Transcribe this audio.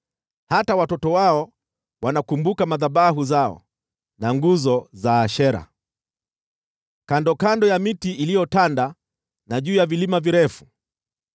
Hata watoto wao wanakumbuka madhabahu zao na nguzo za Ashera, kandokando ya miti iliyotanda na juu ya vilima virefu.